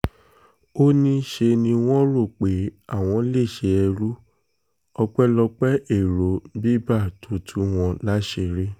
ó ní ṣe ni wọ́n rò pé àwọn lè ṣe ẹrú ọpẹ́lọpẹ́ èrò biber tó tú wọn láṣìírí